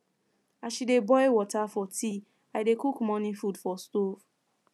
as she dey boil water for tea i dey cook morning food for stove